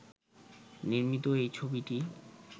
নির্মিত এই ছবিটি